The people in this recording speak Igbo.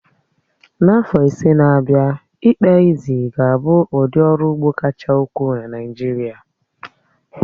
N'afọ ise n'abia, ị́kpà ézí ga-abụ ụdị ọrụ ugbo kacha ukwuu na Naịjirịa.